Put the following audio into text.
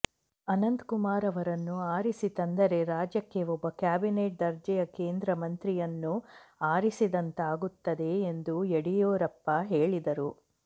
ಅನಂತಕುಮಾರ್ ಅವರನ್ನು ಅರಿಸಿ ತಂದರೆ ರಾಜ್ಯಕ್ಕೆ ಒಬ್ಬ ಕ್ಯಾಬಿನೆಟ್ ದರ್ಜೆಯ ಕೇಂದ್ರ ಮಂತ್ರಿಯನ್ನು ಆರಿಸಿದಂತಾಗುತ್ತದೆ ಎಂದು ಯಡಿಯೂರಪ್ಪ ಹೇಳಿದರು